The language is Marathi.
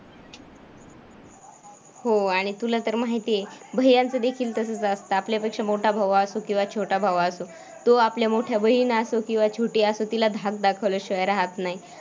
हो आणि तुला तर माहिती आहे, भैय्यांचं देखील तसंच असतं, आपल्यापेक्षा मोठा भाऊ असो किंवा छोटा भाऊ असो. तो आपल्या मोठ्या बहीण असो किंवा छोटी असो तिला धाक दाखवल्याशिवाय राहत नाही.